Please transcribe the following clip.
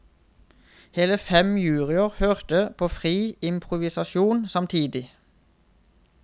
Hele fem juryer hørte på fri improvisasjon samtidig.